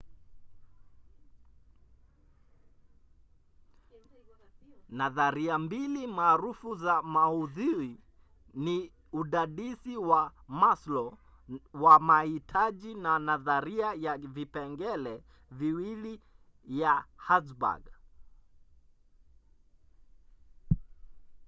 nadharia mbili maarufu za maudhui ni udadisi wa maslow wa mahitaji na nadharia ya vipengele viwili ya hertzberg